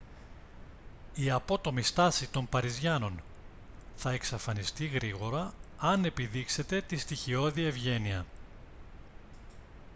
η απότομη στάση των παριζιάνων θα εξαφανιστεί γρήγορα αν επιδείξετε τη στοιχειώδη ευγένεια